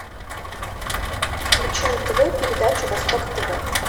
включи на тв передачу восток тв